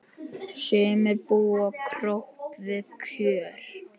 Sumir búa kröpp við kjör.